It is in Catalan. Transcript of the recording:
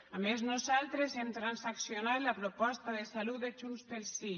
a més nosaltres hem transaccionat la proposta de salut de junts pel sí